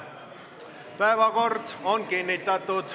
Päevakord on kinnitatud.